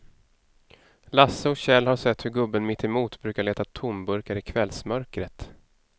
Lasse och Kjell har sett hur gubben mittemot brukar leta tomburkar i kvällsmörkret.